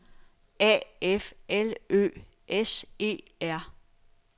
A F L Ø S E R